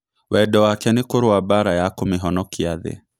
Wendo wake nĩ kũrũa mbara ya kũmĩhonokia thĩ.